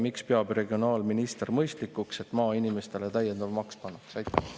Miks peab regionaalminister mõistlikuks, et maainimestele täiendav maks pannakse?